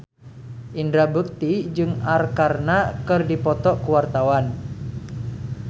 Indra Bekti jeung Arkarna keur dipoto ku wartawan